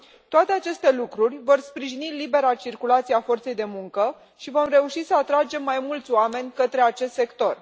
Toate aceste lucruri vor sprijini libera circulație a forței de muncă și vom reuși să atragem mai mulți oameni către acest sector.